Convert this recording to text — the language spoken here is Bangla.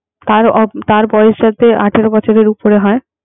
তার বয়স যাতে আঠারো বছরের উপরে হয়